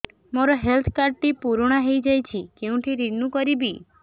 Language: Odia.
ମୋ ହେଲ୍ଥ କାର୍ଡ ଟି ପୁରୁଣା ହେଇଯାଇଛି କେଉଁଠି ରିନିଉ କରିବି